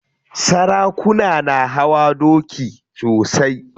Sarakuna na hawa doki sosai.